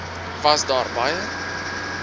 was daar baie